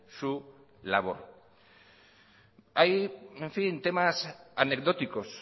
su labor hay temas anecdóticos